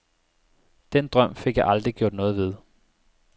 Den drøm fik jeg aldrig gjort noget ved.